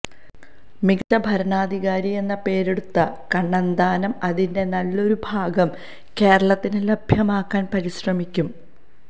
മികച്ച ഭരണാധികാരിയെന്ന് പേരെടുത്ത കണ്ണന്താനം അതിന്റെ നല്ലൊരുഭാഗം കേരളത്തിന് ലഭ്യമാക്കാന് പരിശ്രമിക്കും